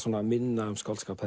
minna um skáldskap